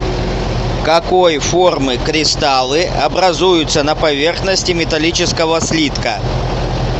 какой формы кристаллы образуются на поверхности металлического слитка